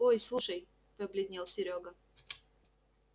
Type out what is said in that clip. ой слушай побледнел серёга